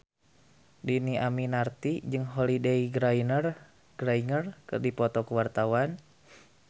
Dhini Aminarti jeung Holliday Grainger keur dipoto ku wartawan